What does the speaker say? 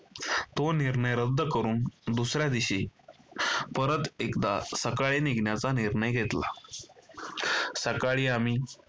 तो निर्णय रद्द करून दुसऱ्या दिवशी परत एकदा सकाळी निघण्याचा निर्णय घेतला. सकाळी आम्ही